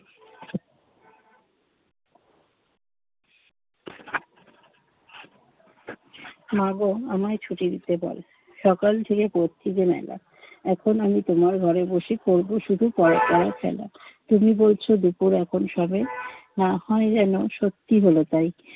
মা গো, আমায় ছুটি দিতে বল্‌, সকাল থেকে পড়েছি যে মেলা। এখন আমি তোমার ঘরে বসে করব শুধু পড়া পড়া খেলা। তুমি বলছ দুপুর এখন সবে, না হয় যেন সত্যি হল তাই,